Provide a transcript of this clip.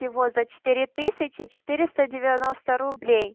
его за четыре тысячи четыреста девяноста рублей